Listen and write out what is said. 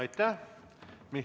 Aitäh!